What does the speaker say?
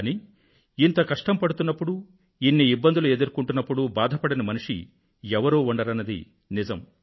కానీ ఇంత కష్టం పడుతున్నప్పుడు ఇన్ని ఇబ్బందులు ఎదుర్కొంటున్నప్పుడు బాధపడని మనిషి ఎవరూ ఉండరన్నది నిజం